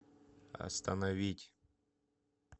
остановить